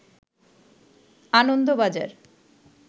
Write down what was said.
Anandabazar